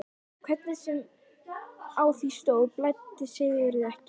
Hvernig sem á því stóð blæddi Sigurði ekki.